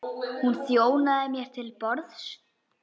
Hún þjónaði mér til borðs.